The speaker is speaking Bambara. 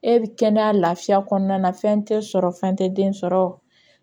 E kɛnɛya lafiya kɔnɔna na fɛn tɛ sɔrɔ fɛn tɛ den sɔrɔ